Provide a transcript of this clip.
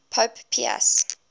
pope pius